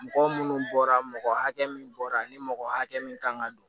Mɔgɔ munnu bɔra mɔgɔ hakɛ min bɔra ni mɔgɔ hakɛ min kan ka don